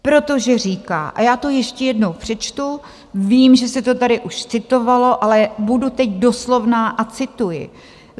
Protože říká, a já to ještě jednou přečtu, vím, že se to tady už citovalo, ale budu teď doslovná a cituji: